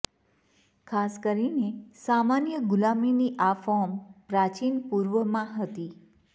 ખાસ કરીને સામાન્ય ગુલામીની આ ફોર્મ પ્રાચીન પૂર્વમાં હતી